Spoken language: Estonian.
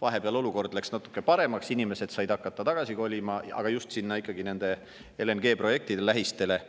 Vahepeal läks olukord natuke paremaks, inimesed said hakata tagasi kolima, just sinna LNG-projektide lähistele,